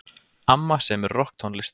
Amma semur rokktónlist.